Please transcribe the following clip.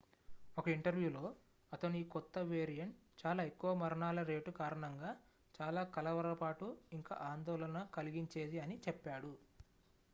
"""ఒక ఇంటర్వ్యూలో అతను ఈ కొత్త వేరియంట్ "చాలా ఎక్కువ మరణాల రేటు కారణంగా చాలా కలవరపాటు ఇంకా ఆందోళన కలిగించేది" అని చెప్పాడు.